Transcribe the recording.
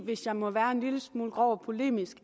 hvis jeg må være en lille smule grov og polemisk